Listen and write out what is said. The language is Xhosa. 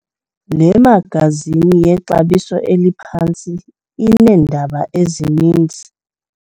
Le magazini yexabiso eliphantsi ineendaba ezininzi.